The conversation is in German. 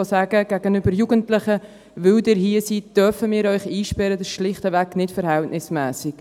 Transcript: Gegenüber Jugendlichen zu sagen, wir dürften sie einsperren, weil sie hier sind, das ist schlichtweg nicht verhältnismässig.